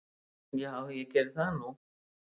Já ég geri það nú.